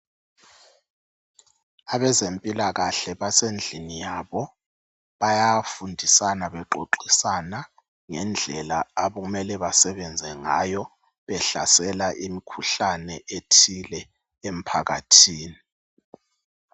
Abezempilakahle basendlini yabo. Bayafundisana bexoxisana ngendlela okumele basebenze ngayo behlasela imkhuhlane ethile emphakathini.